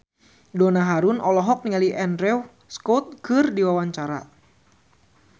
Donna Harun olohok ningali Andrew Scott keur diwawancara